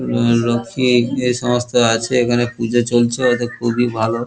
লোকটি এখানে এই সমস্ত আছে এখানে পুজো চলছে। ওদের খুবই ভালো ।